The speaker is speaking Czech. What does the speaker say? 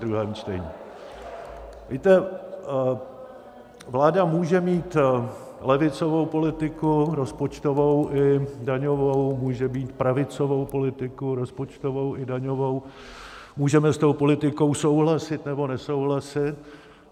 Víte, vláda může mít levicovou politiku rozpočtovou i daňovou, může mít pravicovou politiku rozpočtovou i daňovou, můžeme s tou politikou souhlasit, nebo nesouhlasit.